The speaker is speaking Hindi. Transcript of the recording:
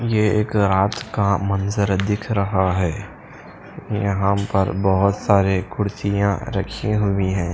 यह एक रात का मंजर दिख रहा है यहां पर बहोत सारे कुर्सियां रखी हुई हैं।